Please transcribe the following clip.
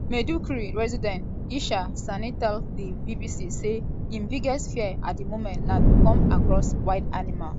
maiduguri resident ishaq sani tell di bbc say im biggest fear at di moment na to come across wild animal.